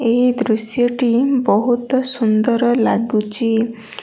ଏହି ଦୃଶ୍ୟ ଟି ବହୁତ ସୁନ୍ଦର ଲାଗୁଚି।